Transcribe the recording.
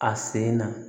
A sen na